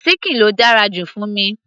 síkìn ló dára jù fún mi